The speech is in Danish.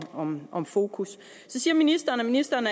om om fokus så siger ministeren at ministeren